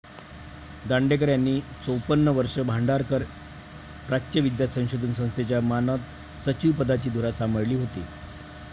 दांडेकर यांनी चोपन्न वर्ष भांडारकर प्राच्यविद्या संशोधन संस्थेच्या मानद सचिव पदाची धुरा सांभाळली होती